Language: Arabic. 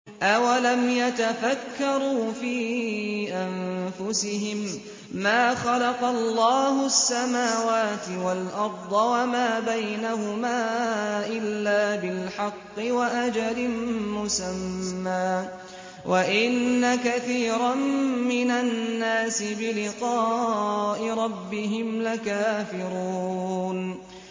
أَوَلَمْ يَتَفَكَّرُوا فِي أَنفُسِهِم ۗ مَّا خَلَقَ اللَّهُ السَّمَاوَاتِ وَالْأَرْضَ وَمَا بَيْنَهُمَا إِلَّا بِالْحَقِّ وَأَجَلٍ مُّسَمًّى ۗ وَإِنَّ كَثِيرًا مِّنَ النَّاسِ بِلِقَاءِ رَبِّهِمْ لَكَافِرُونَ